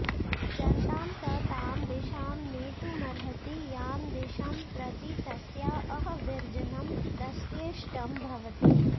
जनतां स तां दिशां नेतुमर्हति यां दिशं प्रति तस्या अावर्जनं तस्येष्टं भवति